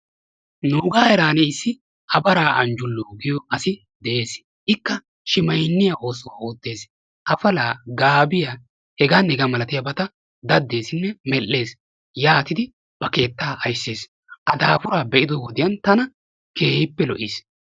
Nuugaa heerani issi Tafaraa Anjuloo giyo asi de; ees. Ikka shimaynniya oosuwa oottees. Afalaa, gaabiya hegaanne hegaa malattiyageeta daddeesinne medhees. Yaatidi A keettaa aysses. A daafuraa be'ido wode tana keehippe lo'iis.